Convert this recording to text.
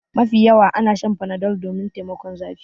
Mafi yawa ana Shan Panadol domin taimakon zafi.